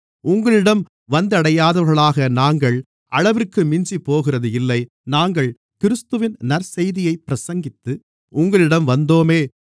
உங்களிடம் வந்தடையாதவர்களாக நாங்கள் அளவிற்கு மிஞ்சிப்போகிறது இல்லை நாங்கள் கிறிஸ்துவின் நற்செய்தியைப் பிரசங்கித்து உங்களிடம் வந்தோமே